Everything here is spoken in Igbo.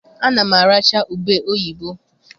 Ana m aracha ube oyibo.